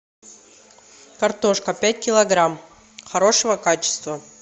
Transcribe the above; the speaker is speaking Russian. картошка пять килограмм хорошего качества